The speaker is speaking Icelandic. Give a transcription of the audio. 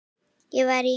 Ég var í